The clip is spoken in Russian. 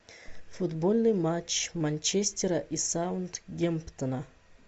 футбольный матч манчестера и саутгемптона